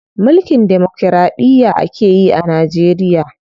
Mulkin demokiraɗiya akeyi a Najeriya.